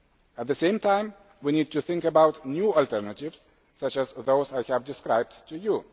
At the same time, we need to think about new alternatives such as those I have described to you.